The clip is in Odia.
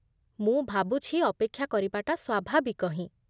ମୁଁ ଭାବୁଛି ଅପେକ୍ଷା କରିବାଟା ସ୍ୱାଭାବିକ ହିଁ